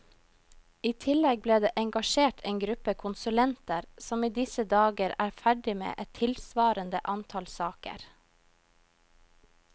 I tillegg ble det engasjert en gruppe konsulenter som i disse dager er ferdig med et tilsvarende antall saker.